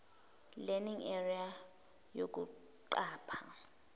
learning area yokuqapha